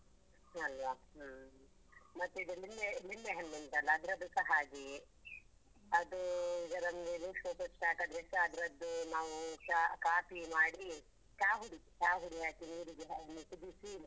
ಅಲ್ವ ಹ್ಮ್, ಮತ್ತೆ ಇದು ಲಿಂಬೆ ಲಿಂಬೆ ಹಣ್ಣು ಉಂಟಲ್ಲ ಅದ್ರದ್ದುಸ ಹಾಗೆಯೆ ಅದು ಈಗ ನಮ್ಗೆ loose motion ಆದ್ರೆಸ ಅದ್ರದ್ದು ನಾವು ಚಾ ಕಾಪಿ ಮಾಡಿ ಚಾ ಹುಡಿ ಚಾ ಹುಡಿ ಹಾಕಿ ನೀರಿಗೆ ಒಮ್ಮೆ ಕುದಿಸಿ